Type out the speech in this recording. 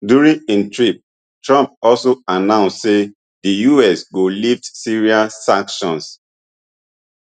during im trip trump also announce say di us go lift syria sanctions